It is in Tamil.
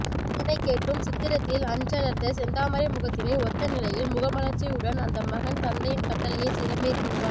இதனைக் கேட்டும் சித்திரத்தில் அன்றலர்ந்த செந்தாமரை முகத்தினை ஒத்த நிலையில் முக மலர்ச்சியுடன் அந்த மகன் தந்தையின் கட்டளையைச் சிரமேற்கோண்டான்